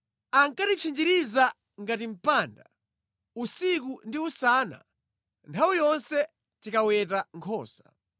Ankatitchinjiriza ngati mpanda usiku ndi usana nthawi yonse tinkaweta nkhosa.